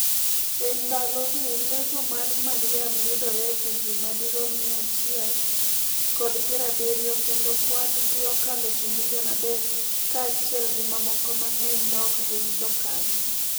E ndalogi, Legion mar Mariam yudore e pinje madirom mia achile kod piero abiriyo, kendo kwan gi okalo ji milion adek, kaachiel gi mamoko mang'eny maok gin jokanyo.